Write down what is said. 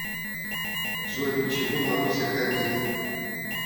джой почему маруся хамит